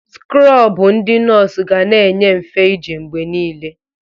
Skrọbụ ndi nọọsụ ga na-enye mfe ije mgbe niile.